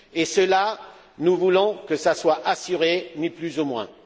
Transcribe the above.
Cela, nous voulons que ce soit assuré, ni plus ni moins.